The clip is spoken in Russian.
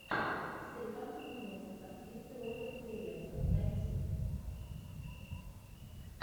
старикам тут не место с актрисой ольгой куриленко найти